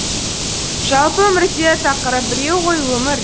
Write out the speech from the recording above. жалпы өмірде тақырып біреу ғой өмір